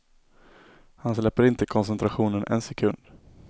Han släpper inte koncentrationen en sekund.